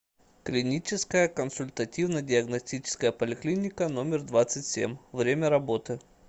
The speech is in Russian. клиническая консультативно диагностическая поликлиника номер двадцать семь время работы